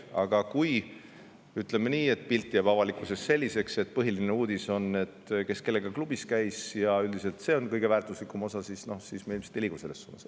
Aga kui pilt jääb avalikkuses selliseks, et põhiline uudis on, kes kellega klubis käis, ja see ongi üldiselt kõige väärtuslikum osa, siis me ilmselt ei liigu õiges suunas.